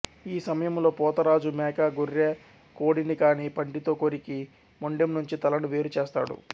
ఈ సమయంలో పోతరాజు మేక గొర్రె కోడిని కానీ పంటితో కొరికి మొండెం నుంచి తలను వేరు చేస్తాడు